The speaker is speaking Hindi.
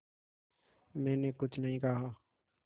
मैंने कुछ नहीं कहा